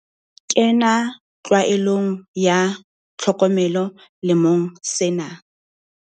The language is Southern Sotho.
Kena tlwaelong ya tlhokomelo lemong sena.